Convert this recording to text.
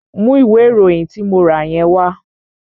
Mú ìwé ìròyìn tí mo rà yẹn wá!